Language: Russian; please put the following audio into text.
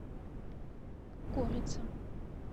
курица